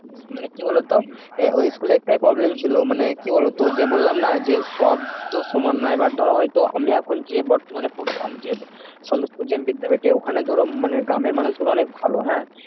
মানে কি বলতো ঐ স্কুলে একটাই school একটাই problem ছিল মানে তোর যে বললাম না যে সব তো সমান না এবার ধরো আমি এখন যে বর্তমানে পড়তাম যে বিদ্যাপীঠে ওখানে ধরো মানে গ্রামের মানুষগুলো অনেক ভালো হ্যাঁ